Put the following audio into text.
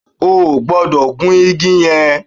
O gbodò gun igi yan